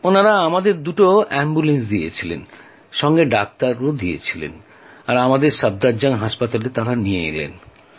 ওঁরা আমাদের দুটো অ্যাম্বুলেন্স দিয়েছিলেন সঙ্গে ডাক্তারও দিয়েছিলেন আর আমাদের সাফদারজং হাসপাতালে নিয়ে গেলেন